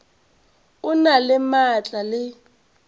o na le maatla le